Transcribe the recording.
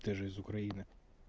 ты же из украины